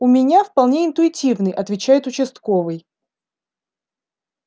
у меня вполне интуитивный отвечает участковый